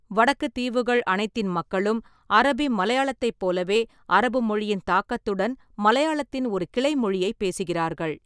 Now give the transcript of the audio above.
வடக்குத் தீவுகள் அனைத்தின் மக்களும் அரபி மலையாளத்தைப் போலவே அரபு மொழியின் தாக்கத்துடன் மலையாளத்தின் ஒரு கிளைமொழியை பேசுகிறார்கள்.